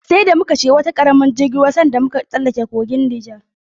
Sai da muka shiga wani karamin jirgin ruwa sanda muka tsallaka kogin Nijar.